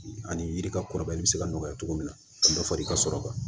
Ani yiri ka kɔrɔbayali bɛ se ka nɔgɔya cogo min na ka dɔ fara i ka sɔrɔ kan